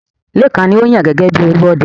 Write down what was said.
Lékan ni a ó yàn gẹ́gẹ́ bi Olúọdẹ.